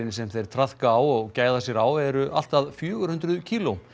sem þeir traðka á og gæða sér á eru allt að fjögur hundruð kíló